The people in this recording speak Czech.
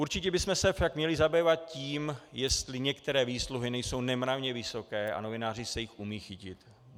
Určitě bychom se však měli zabývat tím, jestli některé výsluhy nejsou nemravně vysoké, a novináři se jich umí chytit.